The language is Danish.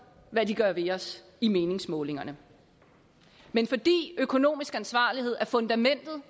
hvad de gør ved os i meningsmålingerne men fordi økonomisk ansvarlighed er fundamentet